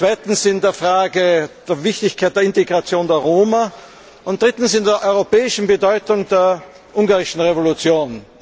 Zweitens in der Frage der Wichtigkeit der Integration der Roma und drittens in der europäischen Bedeutung der ungarischen Revolution.